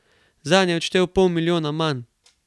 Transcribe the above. Zanj je odštel pol milijona manj.